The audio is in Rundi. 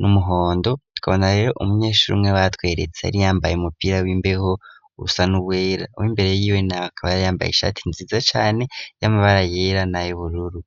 n'umuhondo tukabona rero umunyeshuri umwe watweretse ari yambaye umupira w'imbeho urusa n'ubwera w'imbere yiwe na bakabaara yambaye ishati nziza cyane y'amabara yera na yobururu